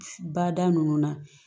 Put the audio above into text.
Bada nunnu na